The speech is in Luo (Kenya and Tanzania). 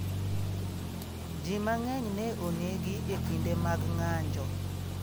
Ji mang'eny ne onegi e kinde mag ng'anjo.